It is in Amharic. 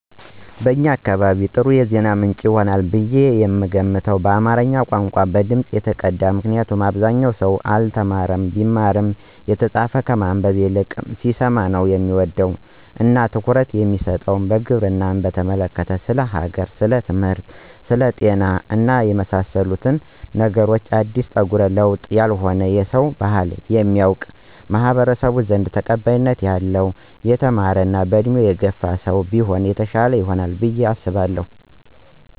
ለእኛ አካባቢ ጥሩ የዜና ምንጭ ይሆናል ብየ የምገምተው በአማረኛ ቋንቋ፣ በድምጽ የተቀዳ ምክንያቱም አብዛኛው ሰው አልተማረም ቢማርም የተጻፈ ከማነበብ ሲሰማ ነው ሚወድ እና ትኩረት የሚሰጥ፣ ግብርናን በተመለከተ፣ ስለ ሀገር፣ ስለትምህርት፣ ስለ ጤና እና ስለመሳሰሉት ነገሮች አዲስ ጠጉረ ልውጥ ያልሆነ የሰውን ባህል የሚያውቅ፣ በማኅበረሰባችን ዘንድ ተቀባይነት ያለው የተማረ ሰለሆነ የተማረ እና በእድሜ የገፋ ሰው ቢሆን የተሻለ ይሆናል ብየ አሰባለሁ።